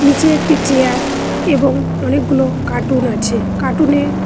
নীচে একটি চেয়ার এবং অনেকগুলো কার্টুন আছে কার্টুন -এ--